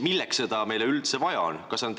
Milleks meile seda üldse vaja on?